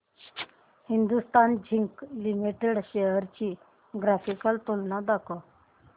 Hindustan zinc limited shares ची graphical तुलना दाखव